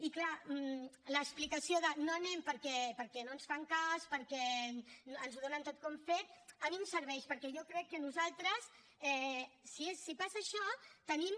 i clar l’explicació de no hi anem perquè no ens fan cas perquè ens ho donen tot com fet a mi no em serveix perquè jo crec que nosaltres si passa això hem de